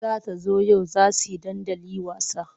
Za ta zo yau za he dandali wasa.